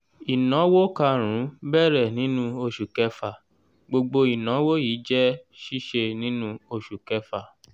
ìnáwó kàrún-ún bẹ̀rẹ̀ nínú oṣù kẹfà gbogbo ìnáwó yìí jẹ́ síse nínú oṣù kẹfà.